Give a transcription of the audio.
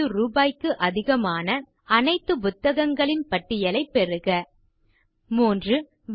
150 ரூபாய்க்கு அதிகமான அனைத்து புத்தகங்களின் பட்டியலைப் பெறுக 3